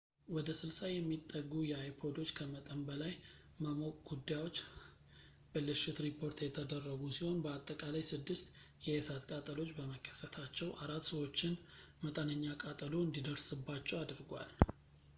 ወደ 60 የሚጠጉ የአይፖዶች ከመጠን በላይ መሞቅ ጉዳዮች ብልሽት ሪፖርት የተደረጉ ሲሆን በአጠቃላይ ስድስት የእሳት ቃጠሎዎች በመከሰታቸው አራት ሰዎችን መጠነኛ ቃጠሎ እንዲደርስባቸው አድርጓል